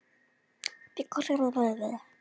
Heildarmynd heimilisins er hlýleg og falleg